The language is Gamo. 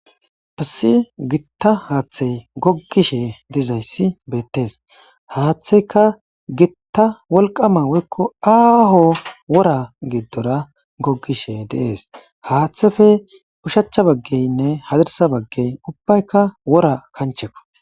Hassi gitta haaththey gogishe dizayssi beettees haaththeyka gitta wolqama woykko aaho wora giddora gogishe deees haaththefe ushacha baggeynne hazirsa baggey ubbaykka wora kanchekko.